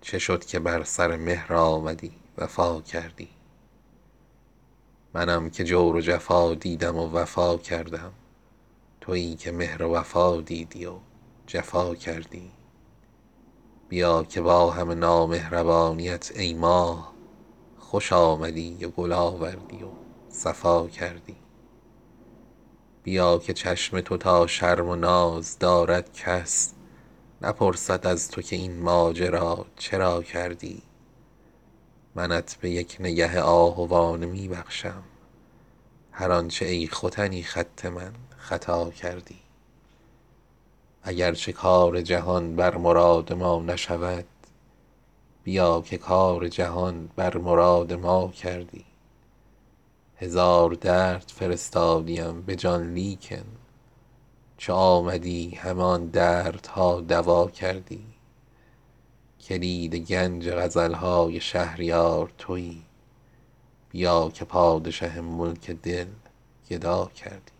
چه شد که بر سر مهر آمدی وفا کردی منم که جور و جفا دیدم و وفا کردم تویی که مهر و وفا دیدی و جفا کردی بیا که با همه نامهربانیت ای ماه خوش آمدی و گل آوردی و صفا کردی بیا که چشم تو تا شرم و ناز دارد کس نپرسد از تو که این ماجرا چرا کردی زکات قامت چون سرو ناز و زلف دوتا بیا که پشت من از بار غم دوتا کردی منت به یک نگه آهوانه می بخشم هر آنچه ای ختنی خط من خطا کردی اگر چه کار جهان بر مراد ما نشود بیا که کار جهان بر مراد ما کردی هزار درد فرستادیم به جان لیکن چو آمدی همه آن دردها دوا کردی کلید گنج غزل های شهریار تویی بیا که پادشه ملک دل گدا کردی